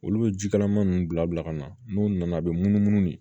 Olu bɛ ji kalaman ninnu bila bila ka na n'u nana a bɛ munumunu de